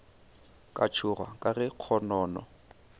ka tšhoga ka ge kgonono